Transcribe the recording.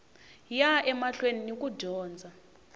ya emahlweni ni ku dyondza